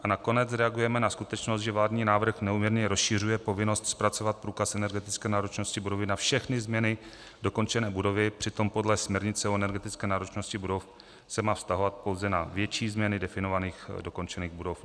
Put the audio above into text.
A nakonec reagujeme na skutečnost, že vládní návrh neúměrně rozšiřuje povinnost zpracovat průkaz energetické náročnosti budovy na všechny změny dokončené budovy, přitom podle směrnice o energetické náročnosti budov se má vztahovat pouze na větší změny definovaných dokončených budov.